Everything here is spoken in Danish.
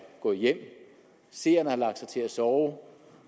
gået hjem og seerne har lagt sig til at sove og